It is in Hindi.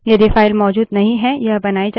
यदि file मौजूद नहीं है यह बनाई जाती है